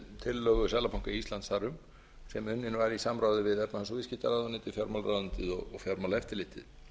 tillögu seðlabanka íslands þar um sem unnin var í samráði við efnahags og viðskiptaráðuneytið fjármálaráðuneytið og fjármálaeftirlitið